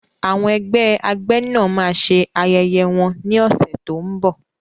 Àwọn ẹgbẹ́ agbẹ́nà máa ṣe ayẹyẹ wọn ní ọ̀sẹ̀ tó ń bọ̀.